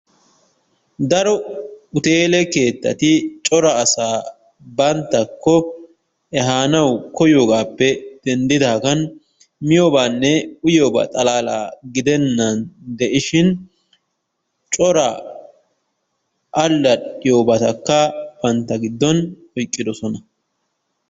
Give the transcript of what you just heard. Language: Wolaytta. Daro hutteele keettati cora asa banttakko ehaanawu koyiyoogaappe denddidaagan miyobaanne uyiyobaa xalaalaa giddenaan de'ishin cora allaxxiyobatakka bantta giddon oyqqiddosona.